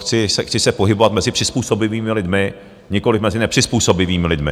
Chci se pohybovat mezi přizpůsobivými lidmi, nikoliv mezi nepřizpůsobivými lidmi.